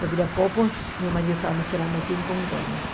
De Viracopos, meu marido estava me esperando aqui em Congonhas.